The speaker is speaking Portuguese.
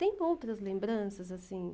Tem outras lembranças? Assim...